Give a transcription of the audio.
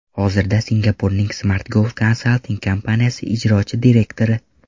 Hozirda Singapurning Smartgov Consulting kompaniyasi ijrochi direktori.